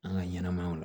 An ka ɲɛnamaw la